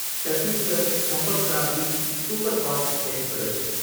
Chhattisgarh Sampark Kranti superfast express